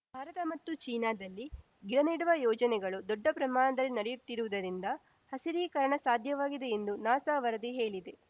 ಭಾರತ ಮತ್ತು ಚೀನಾದಲ್ಲಿ ಗಿಡ ನೆಡುವ ಯೋಜನೆಗಳು ದೊಡ್ಡ ಪ್ರಮಾಣದಲ್ಲಿ ನಡೆಯುತ್ತಿರುವುದರಿಂದ ಹಸಿರೀಕರಣ ಸಾಧ್ಯವಾಗಿದೆ ಎಂದು ನಾಸಾ ವರದಿ ಹೇಳಿದೆ